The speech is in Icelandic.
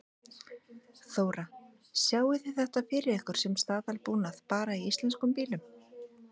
Þóra: Sjáið þið þetta fyrir ykkur sem staðalbúnað bara í íslenskum bílum?